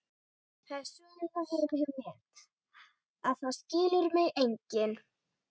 Kletti kom líka stundum með slátur sem hún sagðist vera í vandræðum með.